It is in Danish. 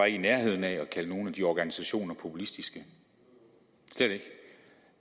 i nærheden af at kalde nogen af de organisationer populistiske slet ikke